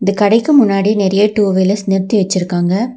இந்த கடைக்கு முன்னாடி நெறைய டூ வீலர்ஸ் நிறுத்தி வச்சிருக்காங்க.